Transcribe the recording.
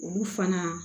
Olu fana